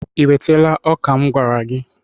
I wetala ọka m gwara gị?